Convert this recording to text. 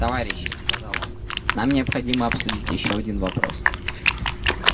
товарищи сказал он нам необходимо обсудить ещё один вопрос